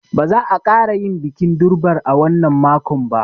Ba za a ƙara yin bikin durbar a wannan makon ba.